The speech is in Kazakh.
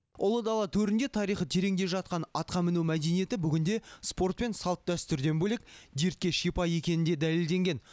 ұлы дала төрінде тарихы тереңде жатқан атқа міну мәдениеті бүгінде спорт пен салт дәстүрден бөлек дертке шипа екені де дәлелденген